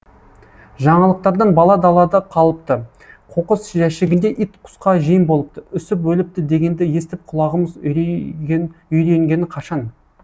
жаңалықтардан бала далада қалыпты қоқыс жәшігінде ит құсқа жем болыпты үсіп өліпті дегенді естіп құлағымыз үйренгені қашан